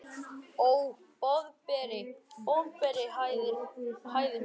Ó, Boðberi, Boðberi hæðir hún hann.